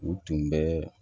U tun bɛ